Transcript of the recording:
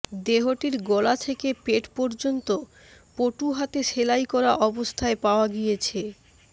দেহটির গলা থেকে পেট পর্যন্ত পটু হাতে সেলাই করা অবস্থায় পাওয়া গিয়েছে